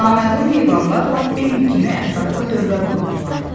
Naməlum heyvanlar lap Bimbi kimi ətrafda dövrə vururdular.